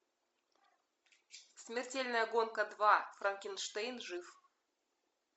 смертельная гонка два франкенштейн жив